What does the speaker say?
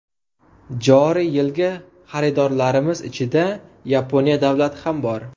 Joriy yilgi xaridorlarimiz ichida Yaponiya davlati ham bor.